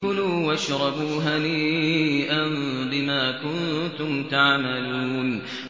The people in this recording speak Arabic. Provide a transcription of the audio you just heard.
كُلُوا وَاشْرَبُوا هَنِيئًا بِمَا كُنتُمْ تَعْمَلُونَ